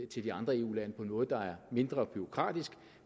til andre eu lande på en måde der er mindre bureaukratisk